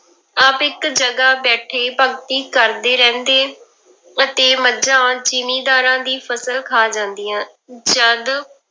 ਆਪ ਇੱਕ ਜਗ੍ਹਾ ਬੈਠੇ ਭਗਤੀ ਕਰਦੇ ਰਹਿੰਦੇ ਅਤੇ ਮੱਝਾ ਜ਼ਿੰਮੀਦਾਰਾਂ ਦੀ ਫਸਲ ਖਾ ਜਾਂਦੀਆਂ, ਜਦ